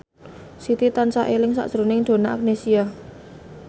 Siti tansah eling sakjroning Donna Agnesia